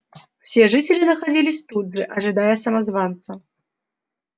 все жители находились тут же ожидая самозванца